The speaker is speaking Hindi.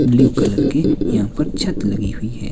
ब्लू कलर की यहां पर छत लगी हुई है।